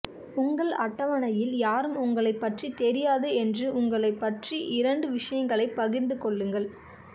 உங்கள் அட்டவணையில் யாரும் உங்களைப் பற்றி தெரியாது என்று உங்களைப் பற்றி இரண்டு விஷயங்களைப் பகிர்ந்து கொள்ளுங்கள்